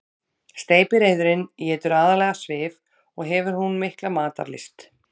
Steypireyðurin étur aðallega svif og hefur hún mikla matarlyst.